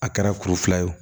A kɛra kuru fila ye o